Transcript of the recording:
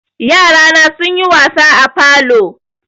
Yarana sunyi wasa a falo.